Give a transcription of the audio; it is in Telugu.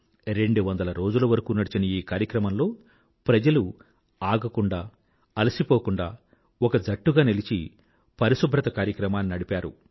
రెండువందల రోజుల వరకూ నడిచిన ఈ కార్యక్రమంలో ప్రజలు ఆగకుండా అలసిపోకుండా ఒక జట్టుగా నిలిచి పరిశుభ్రత కార్యక్రమాన్ని నడిపారు